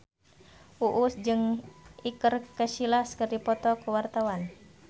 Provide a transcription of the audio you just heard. Uus jeung Iker Casillas keur dipoto ku wartawan